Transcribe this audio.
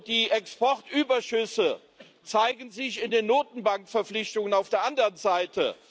Die Exportüberschüsse zeigen sich in den Notenbankverpflichtungen auf der anderen Seite.